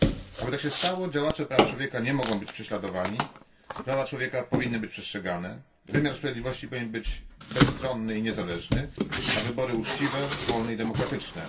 Aby tak się stało, działacze praw człowieka nie mogą być prześladowani, prawa człowieka powinny być przestrzegane, wymiar sprawiedliwości powinien być bezstronny i niezależny, a wybory uczciwe, wolne i demokratyczne.